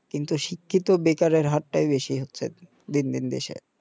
কিন্তু শিক্ষিত বেকারের হারটাই বেশি হচ্ছে আরকি দিন দিন দেশে